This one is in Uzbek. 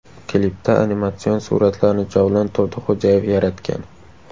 Klipda animatsion suratlarni Javlon Turdixo‘jayev yaratgan.